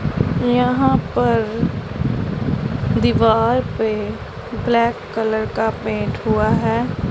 यहां पर दीवाल पे ब्लैक कलर का पेंट हुआ है।